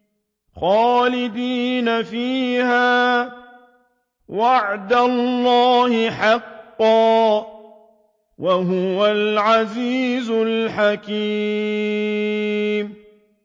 خَالِدِينَ فِيهَا ۖ وَعْدَ اللَّهِ حَقًّا ۚ وَهُوَ الْعَزِيزُ الْحَكِيمُ